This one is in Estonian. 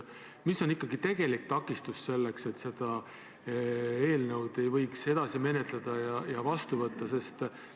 Mis on ikkagi tegelik takistus, et seda eelnõu ei või edasi menetleda ja vastu võtta?